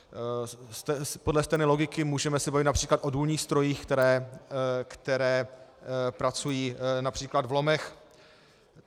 Podle stejné logiky můžeme se bavit například o důlních strojích, které pracují například v lomech.